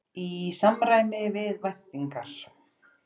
Í samræmi við væntingar